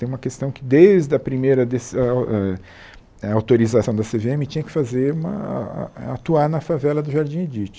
Tem uma questão que desde a primeira des ãh ãh a autorização da Cê Vê Eme tinha que fazer uma a a atuar na favela do Jardim Edite